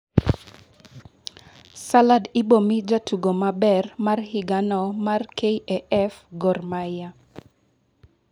salad ibomii jatugo maber mar higano mar KAF gor mahia